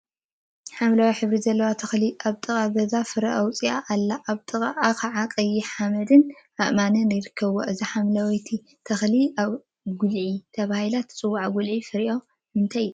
ሓምለዋይ ሕብሪ ዘለዋ ተክሊ አብ ጥቃ ገዛውቲ ፍረ አውፂአ አላ፡፡ አብ ጥቅአ ከዓ ቀይሕ ሓመድን አእማንን ይርከቡዋ፡፡ እዛ ሓምለወይቲ ተክሊ ጉልዒ ተባሂላ ትፀዋዕ፡፡ ጉልዒ ፍሪአ ንምንታይ ይጠቅም?